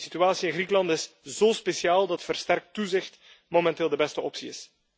De situatie in Griekenland is zo speciaal dat versterkt toezicht momenteel de beste optie is.